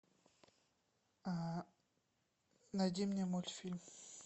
найди мне мультфильм